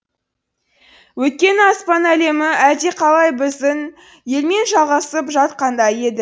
өйткені аспан әлемі әлдеқалай біздің елмен жалғасып жатқандай еді